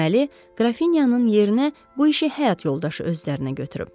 Deməli, Qrafinyanın yerinə bu işi həyat yoldaşı öz üzərinə götürüb.